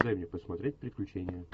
дай мне посмотреть приключения